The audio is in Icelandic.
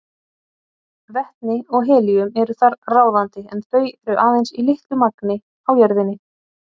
Vetni og helíum eru þar ráðandi en þau eru aðeins í litlu magni á jörðinni.